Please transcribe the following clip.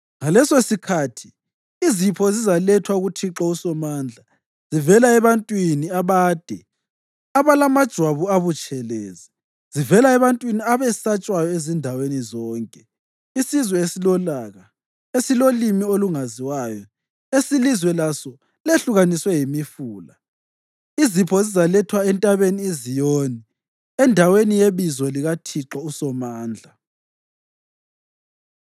Ngalesosikhathi izipho zizalethwa kuThixo uSomandla zivela ebantwini abade abalamajwabu abutshelezi, zivela ebantwini abesatshwayo ezindaweni zonke. Isizwe esilolaka, esilolimi olungaziwayo, esilizwe laso lehlukaniswe yimifula, izipho zizalethwa entabeni iZiyoni, endaweni yeBizo likaThixo uSomandla.